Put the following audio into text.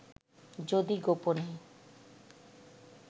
যদি গোপনে